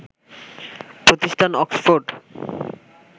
প্রতিষ্ঠান অক্সফোর্ড